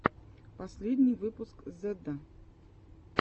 последний выпуск зедда